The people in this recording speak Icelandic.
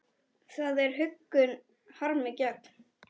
Það er huggun harmi gegn.